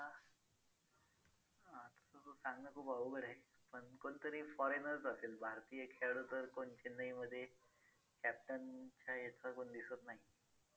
तसं सांगणं खूप अवघड आहे पण कोणतरी foreigner च असेल भारतीय खेळाडू तर कोण चेन्नईमध्ये captain च्या ह्याचा कोण दिसत नाही.